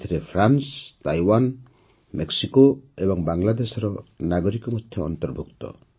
ଏଥିରେ France Taiwan Mexico ଏବଂ ବାଂଲାଦେଶର ନାଗରିକ ମଧ୍ୟ ଅନ୍ତର୍ଭୁକ୍ତ